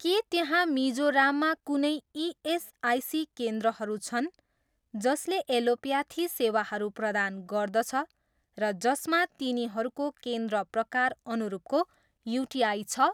के त्यहाँ मिजोराममा कुनै इएसआइसी केन्द्रहरू छन् जसले एलोप्याथी सेवाहरू प्रदान गर्दछ र जसमा तिनीहरूको केन्द्र प्रकार अनुरूपको युटिआई छ?